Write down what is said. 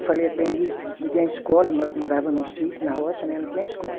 Eu falei, aprendi, não tinha escola, mas eu morava no sítio, na roça, né, não tinha escola.